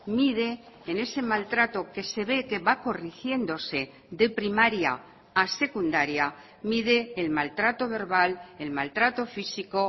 mide en ese maltrato que se ve que va corrigiéndose de primaria a secundaria mide el maltrato verbal el maltrato físico